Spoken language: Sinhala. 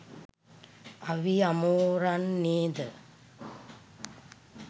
අවි අමෝරන්නේ ද